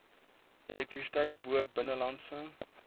elektrisiteit bo binnelandse